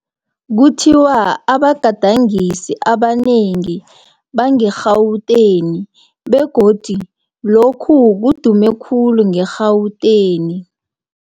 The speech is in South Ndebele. Kuthiwa abagadangisi abanengi bange-Gauteng, begodu lokhu kudume khulu nge-Gauteng.